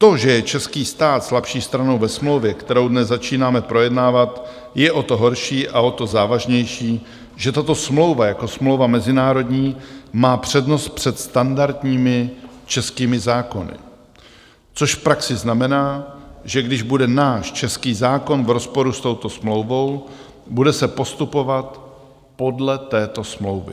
To, že je český stát slabší stranou ve smlouvě, kterou dnes začínáme projednávat, je o to horší a o to závažnější, že tato smlouva jako smlouva mezinárodní má přednost před standardními českými zákony, což v praxi znamená, že když bude náš český zákon v rozporu s touto smlouvou, bude se postupovat podle této smlouvy.